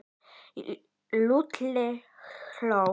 Lúlli hló.